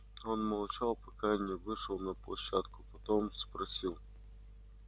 он молчал пока не вышел на площадку потом спросил